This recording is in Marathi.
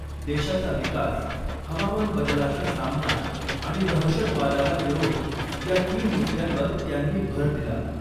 देशाचा विकास , हवामान बदलाचा सामना आणि दहशतवादाला विरोध या तीन मुद्यांवर त्यांनी भर दिला .